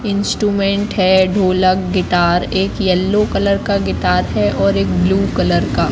Instrument है ढोलक guitar एक येलो कलर का गिटार है और एक ब्ल्यू कलर का।